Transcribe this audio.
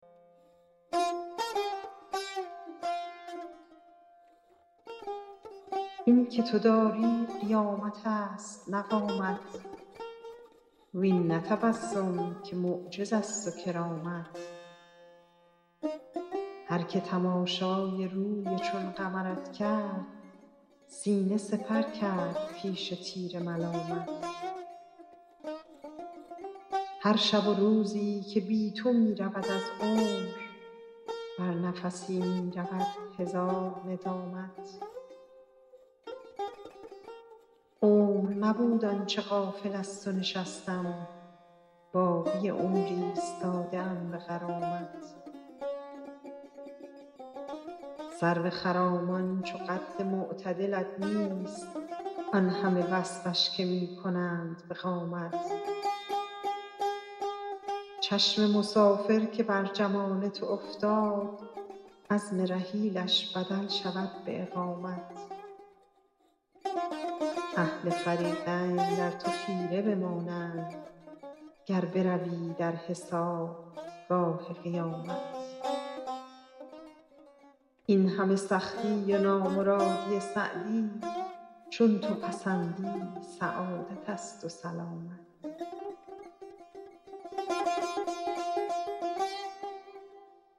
این که تو داری قیامت است نه قامت وین نه تبسم که معجز است و کرامت هر که تماشای روی چون قمرت کرد سینه سپر کرد پیش تیر ملامت هر شب و روزی که بی تو می رود از عمر بر نفسی می رود هزار ندامت عمر نبود آن چه غافل از تو نشستم باقی عمر ایستاده ام به غرامت سرو خرامان چو قد معتدلت نیست آن همه وصفش که می کنند به قامت چشم مسافر که بر جمال تو افتاد عزم رحیلش بدل شود به اقامت اهل فریقین در تو خیره بمانند گر بروی در حسابگاه قیامت این همه سختی و نامرادی سعدی چون تو پسندی سعادت است و سلامت